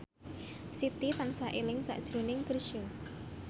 Siti tansah eling sakjroning Chrisye